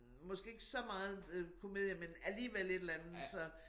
Måske ikke så meget øh komedie men alligevel et eller andet så